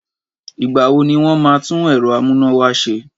Ìgbà wo ni wọn máa tún ẹ̀rọ amúnáwá ṣe?